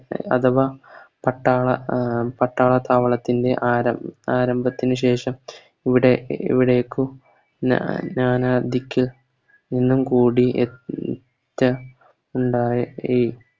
അഥവാ പത്താള പട്ടാള താവളത്തിൻറെ ആരം ആരംഭത്തിന് ശേഷം ഇവിടെ ഇവിടേക്കു ഞാ ഞാനാതിക്ക നിന്നും കൂടി ഉണ്ടായേ